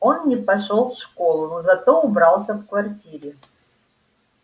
он не пошёл в школу но зато убрался в квартире